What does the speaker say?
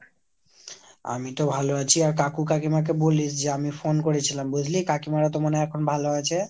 আমিতো ভালো আছি। আর কাকু কাইমাকে বলিস যে আমি phone করেছিলাম। বুঝলি ? কাকিমারা তো এখন মনে হয় ভালো আছে ?